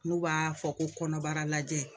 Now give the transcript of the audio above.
N'u b'a fɔ ko kɔnɔbara lajɛ